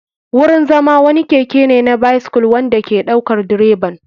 Wurin zama wani keke ne na bycyle wanda ke ɗaukar direban.